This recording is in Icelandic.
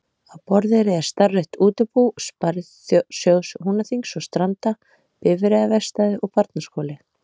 Á Borðeyri er starfrækt útibú Sparisjóðs Húnaþings og Stranda, bifreiðaverkstæði og barnaskóli.